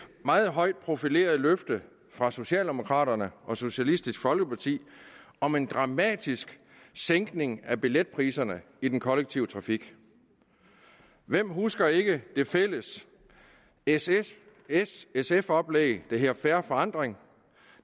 meget højt profilerede løfte fra socialdemokraterne og socialistisk folkeparti om en dramatisk sænkning af billetpriserne i den kollektive trafik hvem husker ikke det fælles s s sf oplæg der hedder fair forandring